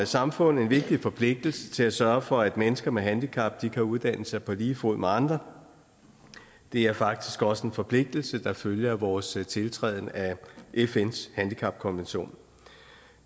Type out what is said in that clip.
samfund en vigtig forpligtelse til at sørge for at mennesker med handicap kan uddanne sig på lige fod med andre det er faktisk også en forpligtelse der følger af vores tiltræden af fns handicapkonvention